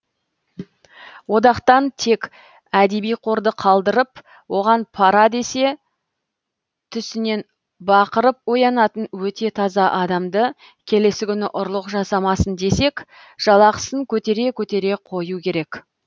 одақтан тек әдеби қорды қалдырып оған пара десе түсінен бақырып оянатын өте таза адамды келесі күні ұрлық жасамасын десек жалақысын көтере көтере қою керек